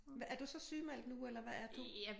Hvad er du så sygemeldt nu eller hvad er du?